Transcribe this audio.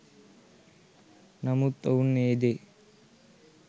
නමුත් ඔවුන් ඒ දේ